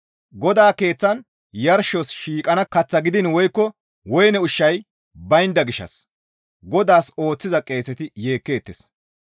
GODAA Keeththan yarshos shiiqana kath gidiin woykko woyne ushshay baynda gishshas GODAAS ooththiza qeeseti yeekkeettes.